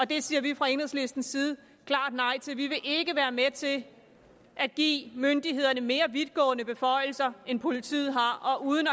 det siger vi fra enhedslistens side klart nej til vi vil ikke være med til at give myndighederne mere vidtgående beføjelser end politiet har uden